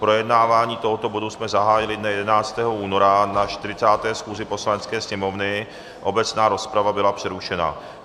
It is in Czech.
Projednávání tohoto bodu jsme zahájili dne 11. února na 40. schůzi Poslanecké sněmovny, obecná rozprava byla přerušena.